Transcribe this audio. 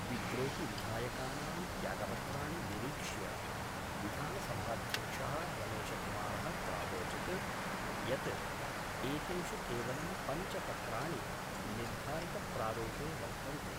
विद्रोहिविधायकानां त्यागपत्राणि निरीक्ष्य विधानसभाध्यक्ष: रमेशकुमार: प्रावोचत् यत् एतेषु केवलं पंच पत्राणि निर्धारितप्रारूपे वर्तन्ते।